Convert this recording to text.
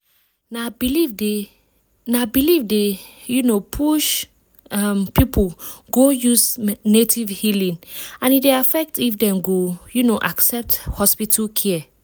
na belief dey na belief dey um push um people go use native healing and e dey affect if dem go um accept hospital care.